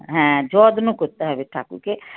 হ্যাঁ যত্ন করতে হবে ঠাকুরকে।